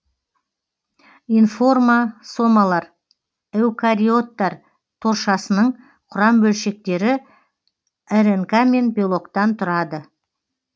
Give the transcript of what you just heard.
информосомалар эукариоттар торшасының құрам бөлшектері ирнқ мен белоктан тұрады